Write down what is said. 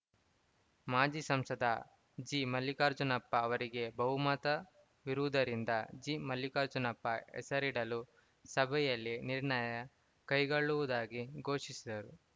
ಮಾಜಿ ಸಂಸದ ಜಿಮಲ್ಲಿಕಾರ್ಜುನಪ್ಪ ಹೆಸರಿಗೆ ಬಹುಮತವಿರುವುದರಿಂದ ಜಿಮಲ್ಲಿಕಾರ್ಜುನಪ್ಪ ಹೆಸರಿಡಲು ಸಭೆಯಲ್ಲಿ ನಿರ್ಣಯ ಕೈಗೊಳ್ಳುವುದಾಗಿ ಘೋಷಿಸಿದರು